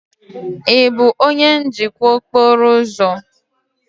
Ị bụ onye njikwa okporo ụzọ?